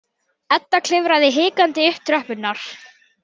Edda klifraði hikandi upp tröppurnar.